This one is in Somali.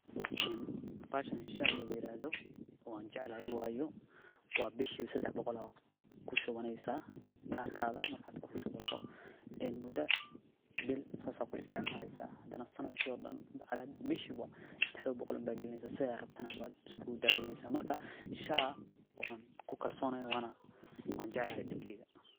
Bahashan waan jeclahay waayo bishiba shan boqol ayaad kushubaneysa kadibna waad isticmaleysa, bil walbo waad kushubaneysa sidaad rabto ayaad na isku daweyneysa, waan ku kalsonahay waana jeclahay.